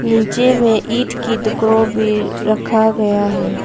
नीचे में ईट के टुकड़ों भी रखा गया है।